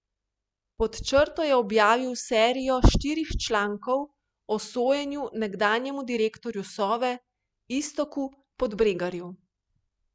Pod črto je objavil serijo štirih člankov o sojenju nekdanjemu direktorju Sove Iztoku Podbregarju.